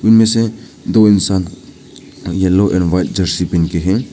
इनमें से दो इंसान एल्लो एंड व्हाइट जर्सी पहन के हैं।